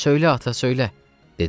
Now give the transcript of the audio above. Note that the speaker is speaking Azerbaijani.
Söylə, ata, söylə, — dedilər.